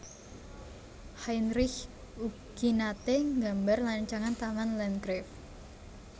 Heinrich ugi naté nggambar rancangan Taman Landgrave